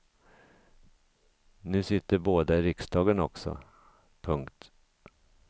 Nu sitter båda i riksdagen också. punkt